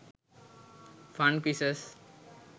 fun quizzes